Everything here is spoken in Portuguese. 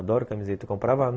Adoro camiseta. Comprova